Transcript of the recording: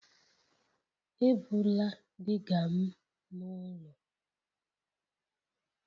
Ebula digger m n'ụlọ!